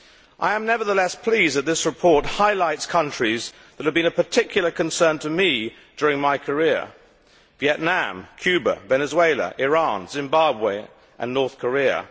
I am nevertheless pleased that this report highlights countries that have been of particular concern to me during my career Vietnam, Cuba, Venezuela, Iran, Zimbabwe and North Korea.